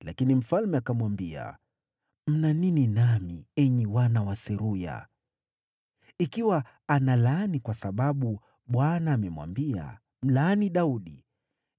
Lakini mfalme akamwambia, “Mna nini nami, enyi wana wa Seruya? Ikiwa analaani kwa sababu Bwana amemwambia, ‘Mlaani Daudi,’